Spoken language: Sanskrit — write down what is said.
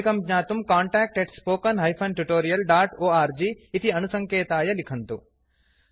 अधिकं ज्ञातुं contactspoken tutorialorg इति अणुसङ्केताय लिखन्तु